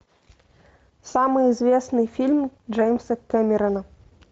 самый известный фильм джеймса кэмерона